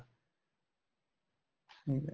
ਠੀਕ ਏ